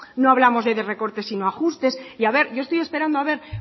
no hablamos de recortes sino ajustes y a ver yo estoy esperando